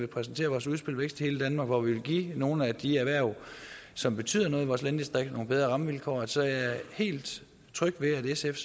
præsentere vores udspil vækst i hele danmark hvor vi vil give nogle af de erhverv som betyder noget i vores landdistrikter nogle bedre rammevilkår så jeg er helt tryg ved at sf